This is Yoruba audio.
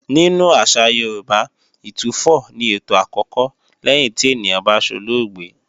Nínú àṣà Yorùbá, Ìtúfọ̀ ni ètò àkọ́kọ́ lẹ́yìn tí ènìyàn bá solóògbé